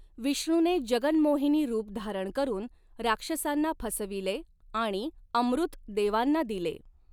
विष्णूने जगन्मोहिनी रूप धारण करून राक्षसांना फसविले आणि अमृत देवांना दिले.